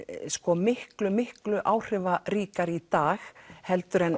miklu miklu áhrifaríkari í dag heldur en